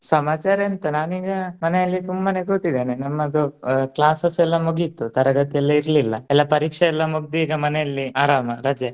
ಸಮಾಚಾರ ಎಂತ ನಾನೀಗ ಮನೆಯಲ್ಲಿ ಸುಮ್ಮನೆ ಕೂತಿದೆನೆ ನಮ್ಮದು ಆ classes ಎಲ್ಲಾ ಮುಗೀತು ತರಗತಿ ಎಲ್ಲಾ ಇರ್ಲಿಲ್ಲ. ಎಲ್ಲಾ ಪರೀಕ್ಷೆ ಎಲ್ಲಾ ಮುಗ್ದಿ ಈಗ ಮನೆಯಲ್ಲಿ ಆರಾಮ ರಜೆ.